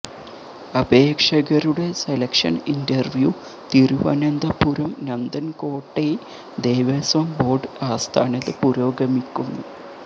അപേക്ഷകരുടെ selection interview Thiruvananthapuram നന്ദൻകോട്ടെ Devaswom board ആസ്ഥാനത്ത് പുരോഗമിക്കുന്നു